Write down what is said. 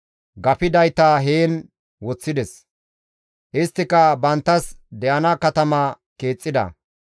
Gafidayta heen woththides; isttika banttas de7ana katama keexxida.